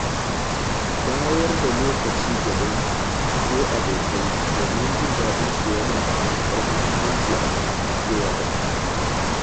Bayar da lokaci ga dangi ko abokai domin jin daɗin su yana da matuƙar muhimmanci a zamantakewa da mu'amala.